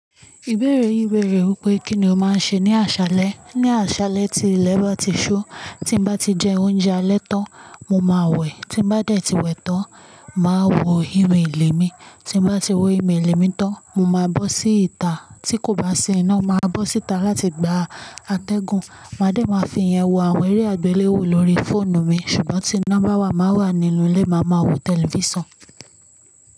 Ìbéèrè yìí béèrè wípé kínní o máa ń ṣe ní àṣáalẹ. Ní àṣáalẹ tí ilé bá ti ṣu, tí bá ti jẹ oúnjẹ alẹ́ tán, mo máa wẹ̀. Tí bá dẹ̀ ti wẹ̀ tán, máa wo inu ìlẹ̀ mi. Tí bá ti wo email mi tán, mo máa bọ́ síta. Tí kò bá ṣẹ́ iná, màá bọ́ síta láti gba atẹ́gùn. Màá dẹ̀ máa fi ìyẹn wo àwọn eré àgbéléwò lórí fóònù mi. Ṣùgbọ́n tí iná bá wà, màá wà nínú ilé, màá ma wo tẹlifíṣàn.